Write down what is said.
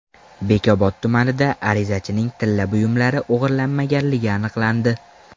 Bekobod tumanida arizachining tilla buyumlari o‘g‘irlanmaganligi aniqlandi.